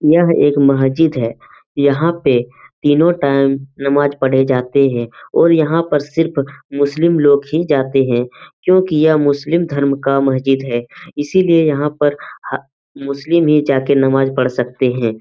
यह एक मस्जिद है यहां पे तिनो टाइम नमाज़ पढ़े जाते है और यह सिर्फ मुस्लिम लोग जाते है क्युकि यह मुस्लिम धर्म क मस्जिद है इसलिए यहां पे मुस्लिम हि नमाज़ पढ़ सकते है।